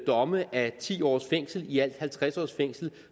domme af ti års fængsel ialt halvtreds års fængsel